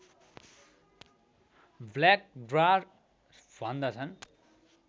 black dwarf भन्दछन्